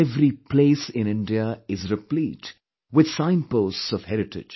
Every place in India is replete with signposts of heritage